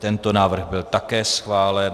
Tento návrh byl také schválen.